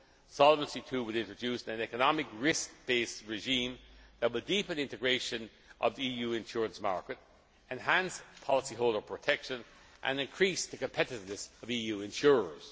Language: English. old. Solvency II will introduce an economic risk based regime that will deepen integration of the EU insurance market, enhance policyholder protection and increase the competitiveness of EU